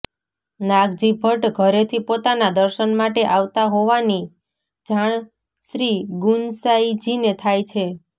નાગજી ભટ્ટ ઘરેથી પોતાના દર્શન માટે આવતા હોવાની જાણ શ્રીગુંસાઈજીને થાય છે